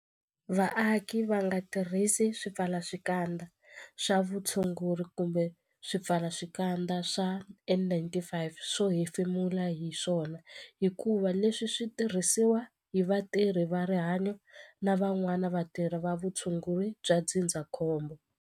Vaaki va nga tirhisi swipfalaxikandza swa vutshunguri kumbe swipfalaxikandza swa N-95 swo hefemula hi swona hikuva leswi swi tirhisiwa hi vatirhi va rihanyo na van'wana vatirhi va vutshunguri bya ndzindzakhombo.